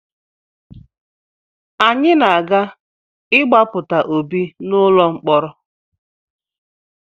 Anyị ga-aga ịgbapụta Obi n’ụlọ mkọrọ